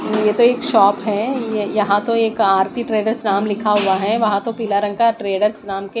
ये तो एक शॉप है ये यहां तो एक आरती ट्रेडर्स नाम लिखा हुआ है वहां तो पीला रंग का ट्रेडर्स नाम के --